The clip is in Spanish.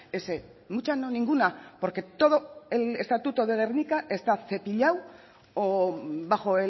ese mucha no ninguna porque todo el estatuto de gernika está cepillado o bajo